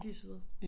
De søde